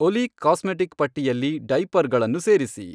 ಒಲಿ ಕಾಸ್ಮೆಟಿಕ್ ಪಟ್ಟಿಯಲ್ಲಿ ಡೈಪರ್ಗಳನ್ನು ಸೇರಿಸಿ